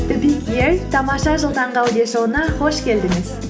тамаша жыл таңғы аудиошоуына қош келдіңіз